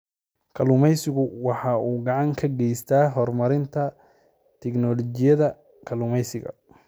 Kalluumaysigu waxa uu gacan ka geystaa horumarinta tignoolajiyada kalluumaysiga.